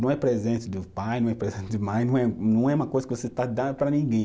Não é presente do pai, não é presente de mãe, não é, não é uma coisa que você está dando para ninguém.